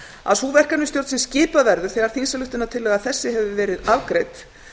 að sú verkefnisstjórn sem skipuð verður þegar þingsályktunartillaga þessi hefur verið afgreidd